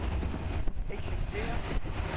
eksisterer